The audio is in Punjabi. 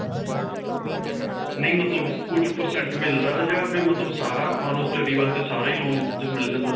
ਨਹੀਂ ਮਤਲੱਬ ਕੁਝ percent ਮਿਲਦਾ ਜਾਂ' ਵੀ ਮਤਲੱਬ ਸਾਰਾ ਆਪਾਂ ਨੂੰ study ਵਾਸਤੇ ਸਾਰਾ ਹੀ loan ਮਿਲ ਜਾਂਦਾ?